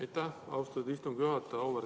Aitäh, austatud istungi juhataja!